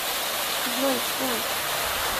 джой кем